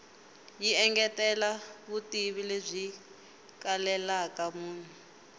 yi engetela vutivi lebyi kalelaka munhu